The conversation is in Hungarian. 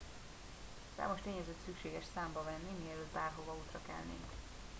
számos tényezőt szükséges számba venni mielőtt bárhova útra kelnénk